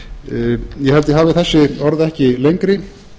var ég held ég hafi þessi orð ekki lengri